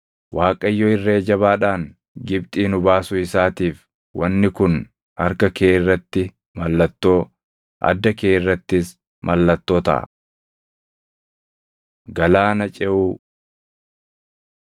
Waaqayyo irree jabaadhaan Gibxii nu baasuu isaatiif wanni kun harka kee irratti mallattoo, adda kee irrattis mallattoo taʼa.” Galaana Ceʼuu